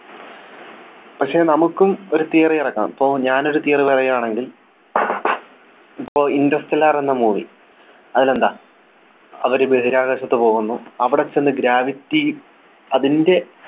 പക്ഷെ നമുക്കും ഒരു Theory ഇറക്കാം പോ ഞാനൊരു Theory പറയാണെങ്കിൽ ഇപ്പൊ Interstellar എന്ന movie അതിൽ എന്താ അവര് ബഹിരാകാശത്ത് പോകുന്നു അവിടെ ചെന്ന് Gravity അതിൻ്റെ